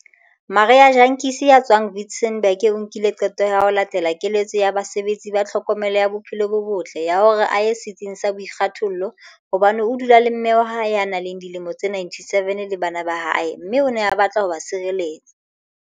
Marie Jantjies ya tswang Witzenberg o nkile qeto ya ho latela keletso ya basebetsi ba tlhokomelo ya bophelo bo botle ya hore a ye setsing sa boikgethollo hobane o dula le mme wa hae ya nang le dilemo tse 97 le bana ba hae mme o ne a batla ho ba tshireletsa.